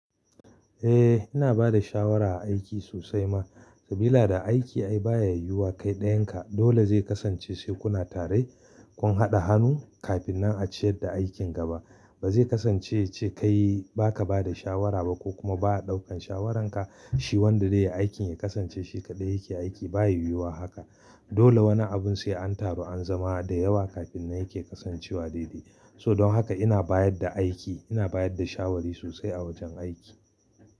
Eh ina bada shawara a aiki sosai ma, sabila da aiki ai baya yiwuwa kai dayan ka dole zai kasance shekuna tare kun haɗa hannu kafin nan a ciyar da aikin gaba. Ba zai kasance ce kai baka bada shawara ba ko kuma ba a ɗaukan shawaranka shi wanda dai ya aikin ya kasance shi kaɗai yake aiki baya yiwuwa haka. Dole wani abun sai an taru an zama da yawa kafin yake kasancewa daidai. So don haka ina bayar da aiki ina bayar da shawari sosai a wajen aiki.